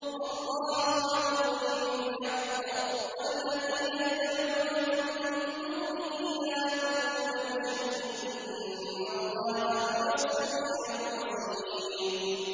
وَاللَّهُ يَقْضِي بِالْحَقِّ ۖ وَالَّذِينَ يَدْعُونَ مِن دُونِهِ لَا يَقْضُونَ بِشَيْءٍ ۗ إِنَّ اللَّهَ هُوَ السَّمِيعُ الْبَصِيرُ